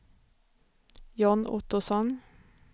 John Ottosson